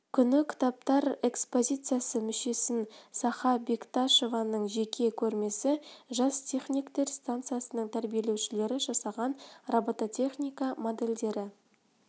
күні кітаптар экспозициясы мүсінші саха бекташованың жеке көрмесі жас техниктер станциясының тәрбиеленушілері жасаған робототехника модельдері